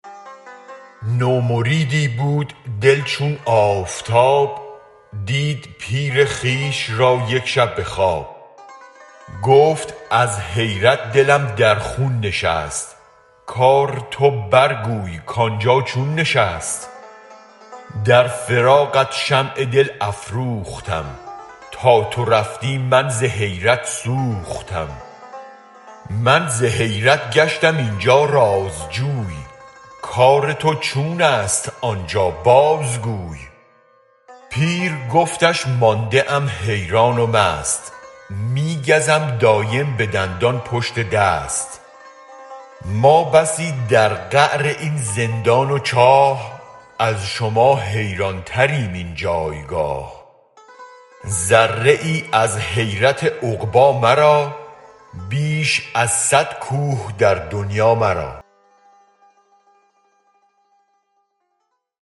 نو مریدی بود دل چون آفتاب دید پیر خویش را یک شب به خواب گفت از حیرت دلم در خون نشست کار تو برگوی کانجا چون نشست در فراقت شمع دل افروختم تا تو رفتی من ز حیرت سوختم من ز حیرت گشتم اینجا رازجوی کار تو چونست آنجا بازگوی پیر گفتش مانده ام حیران و مست می گزم دایم به دندان پشت دست ما بسی در قعر این زندان و چاه از شما حیران تریم این جایگاه ذره ای از حیرت عقبی مرا بیش از صد کوه در دنیا مرا